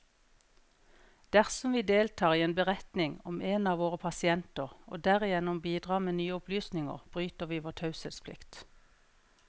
Dersom vi deltar i en beretning om en av våre pasienter, og derigjennom bidrar med nye opplysninger, bryter vi vår taushetsplikt.